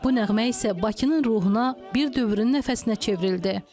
Bu nəğmə isə Bakının ruhuna, bir dövrün nəfəsinə çevrildi.